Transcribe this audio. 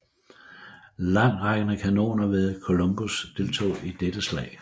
Langtrækkende kanoner ved Columbus deltog i dette slag